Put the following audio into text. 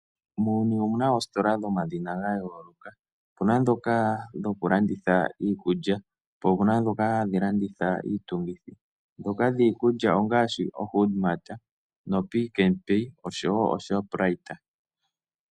Muuyuni omuna oositola dhomadhina ga yooloka . Opuna ndhoka dhoku landitha iikutu. Po opuna ndhoka dhoku landitha iitungithi. Ndhoka dhiikulya ongaashi oHood mart noPick n Pay noShoprite.